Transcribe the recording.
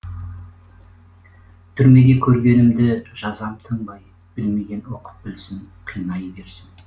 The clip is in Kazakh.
түрмеде көргенімді жазам тыңбай білмеген оқып білсін қинай берсін